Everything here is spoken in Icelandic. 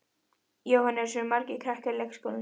Jóhannes: Eru margir krakkar í leikskólanum?